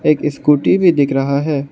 एक स्कूटी भी दिख रहा है।